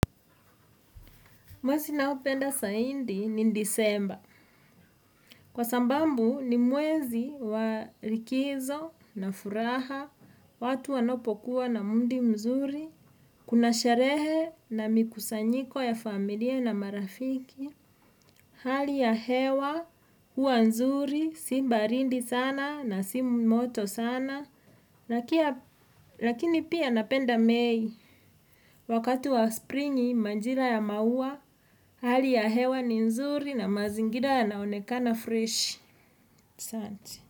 Mwezi naupenda saindi ni ndisemba, kwa sambambu ni mwezi wa likizo na furaha, watu wanopokuwa na mundi mzuri, kunasharehe na mikusanyiko ya familia na marafiki. Hali ya hewa, huwa nzuri, si mbarindi sana na simu moto sana. Lakini pia napenda mei, wakati wa springi, manjila ya maua. Hali ya hewa ni nzuri na mazingila ya naonekana fresh. Sante.